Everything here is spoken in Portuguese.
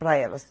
Para elas.